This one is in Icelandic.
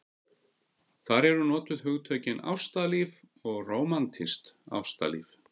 Þar eru notuð hugtökin ástalíf og rómantískt ástalíf.